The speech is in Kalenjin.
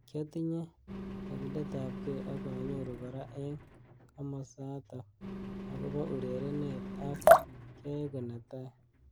Kiatinyei kakilet ab kei akanyoru kora eng kimosatak akobo urerenet ak kyaeku netai.